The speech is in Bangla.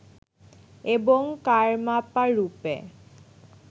এবং কারমাপা রূপে